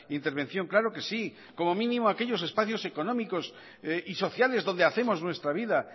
intervención claro que sí como mínimo aquellos espacios económicos y sociales donde hacemos nuestra vida